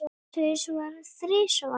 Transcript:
Tvisvar, þrisvar?